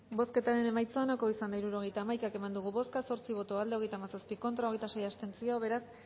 bozketaren emaitza onako izan da hirurogeita hamaika eman dugu bozka zortzi boto aldekoa hogeita hamazazpi contra hogeita sei abstentzio beraz